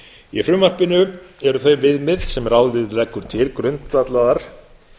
í frumvarpinu eru þau viðmið sem ráðið leggur til grundvallaðar